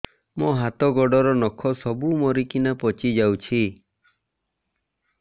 ମୋ ହାତ ଗୋଡର ନଖ ସବୁ ମରିକିନା ପଚି ଯାଉଛି